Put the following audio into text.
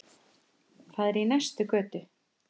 Það er í næstu götu.